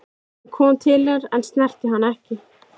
Hann kom til hennar en snerti hana ekki.